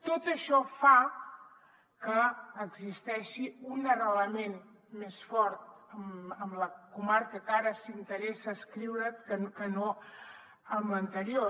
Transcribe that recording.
tot això fa que existeixi un arrelament més fort amb la comarca que ara s’hi interessen adscriure que no amb l’anterior